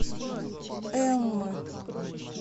эммы